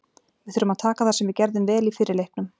Við þurfum að taka það sem við gerðum vel í fyrri leiknum.